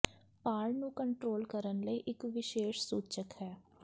ਭਾਰ ਨੂੰ ਕੰਟਰੋਲ ਕਰਨ ਲਈ ਇੱਕ ਵਿਸ਼ੇਸ਼ ਸੂਚਕ ਹੈ